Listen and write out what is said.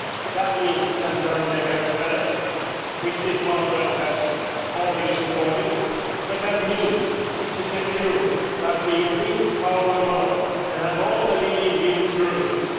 That means the 700 megahertz band, which this Parliament has already supported, but that also means to secure that we in this part of the world can have all the new leading services.